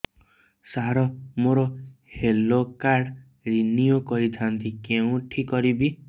ସାର ମୋର health card renew କରିଥାନ୍ତି କେଉଁଠି କରିବି